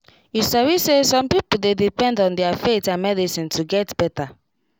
true true when respect for faith um and medicine de dem de make work smooth